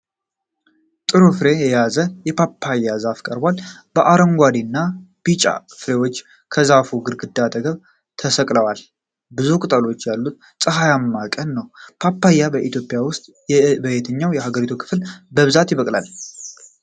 ጥሩ ፍሬ የያዘ የፓፓያ ዛፍ ቀርቧል። አረንጓዴና ቢጫ ፍሬዎች ከዛፉ ግንድ አጠገብ ተሰቅለዋል። ብዙ ቅጠሎች ያሉትና ፀሐያማ ቀን ነው። ፓፓያ በኢትዮጵያ ውስጥ በየትኛው የሀገሪቱ ክፍል በብዛት ይበቅላል?